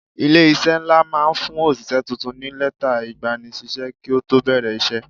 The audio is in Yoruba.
Ilé-iṣẹ́ ńlá máa ń fún òṣìṣẹ́ tuntun ní lẹ́tà ìgbanisíṣẹ́ kí ó tó bẹ̀rẹ̀ iṣẹ́.